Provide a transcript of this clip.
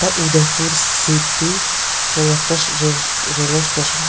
আ Udaipur city বলে একটা শ রে রেলের স্টেশন ।